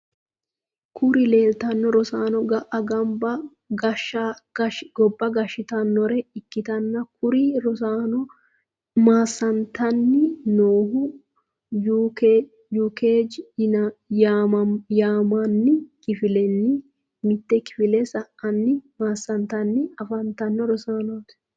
Kuri leleitano rossano gaa gobba gashshitanore ikitana kuri rosanono massanitani nohhu UKG yimanni kifilenni mitte kifile sa’ani masanitanni afattano rossanoti.